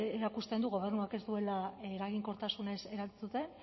erakusten du gobernuak ez duela eraginkortasunez erantzuten